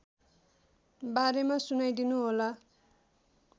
बारेमा सुनाइदिनुहोला